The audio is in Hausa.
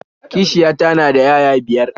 Kishiyata na da 'ya'ya biyar